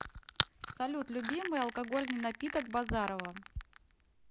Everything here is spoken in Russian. салют любимый алкогольный напиток базарова